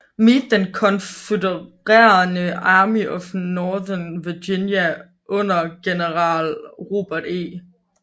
Meade den konfødererede Army of Northern Virginia under general Robert E